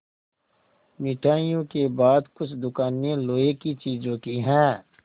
मिठाइयों के बाद कुछ दुकानें लोहे की चीज़ों की हैं